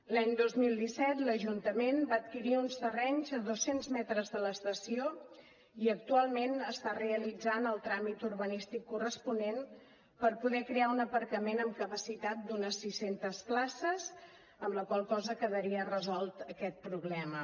l’any dos mil disset l’ajuntament va adquirir uns terrenys a dos cents metres de l’estació i actualment està realitzant el tràmit urbanístic corresponent per poder crear un aparcament amb capacitat d’unes sis centes places amb la qual cosa quedaria resolt aquest problema